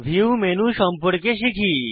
view menu সম্পর্কে শিখি